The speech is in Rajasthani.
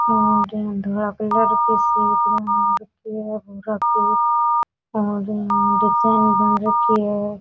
और धोला कलर की सी और डिज़ाइन बन रखी है।